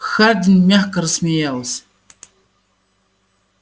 хардин мягко рассмеялся